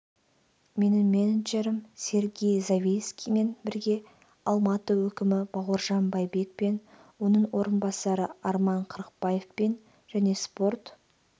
менің менеджерім сергей завильскиймен бірге алматы әкімі бауыржан байбек пен оның орынбасары арман қырықбаевпен және спорт